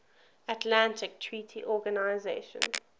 atlantic treaty organisation